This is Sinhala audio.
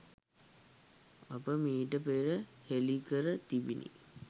අප මීට පෙර හෙළිකර තිබිනි